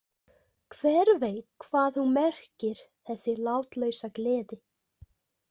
Hver veit hvað hún merkir, þessi látlausa gleði?